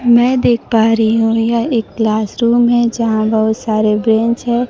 मैं देख पा रही हूं यह एक क्लास रूम है यहां बहुत सारे बेंच है।